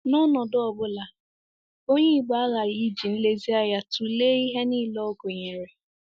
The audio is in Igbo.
N’ọnọdụ ọ bụla, Onye Igbo aghaghị iji nlezianya tụlee ihe nile ọ gụnyere.